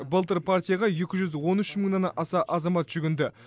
былтыр партияға екі жүз он үш мыңнан аса азамат жүгінді